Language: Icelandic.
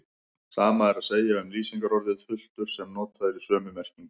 Sama er að segja um lýsingarorðið hultur sem notað er í sömu merkingu.